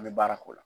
An bɛ baara k'o la